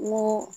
N ko